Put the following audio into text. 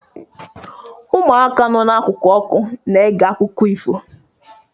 Ụmụaka nọ n'akụkụ ọkụ na-ege akụkọ ifo.